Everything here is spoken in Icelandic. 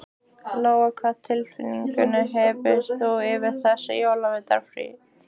Lóa: Hvað tilfinningu hefur þú fyrir þessari jólavertíð?